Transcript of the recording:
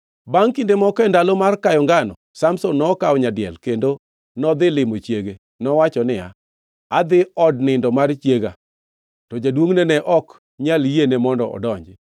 Bangʼ kinde moko e ndalo mar kayo ngano, Samson nokawo nyadiel kendo nodhi limo chiege. Nowacho niya, “Adhi od nindo mar chiega.” To jaduongʼne ne ok nyal yiene mondo odonji.